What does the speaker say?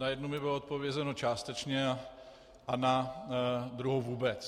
Na jednu mi bylo odpovězeno částečně a na druhou vůbec.